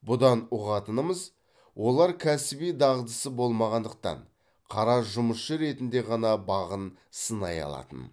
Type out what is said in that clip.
бұдан ұғатынымыз олар кәсіби дағдысы болмағандықтан қара жұмысшы ретінде ғана бағын сынай алатын